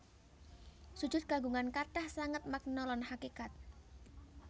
Sujud kagungan kathah sanget makna lan hakékat